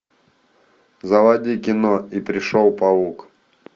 заводи кино и пришел паук